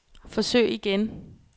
forsøg igen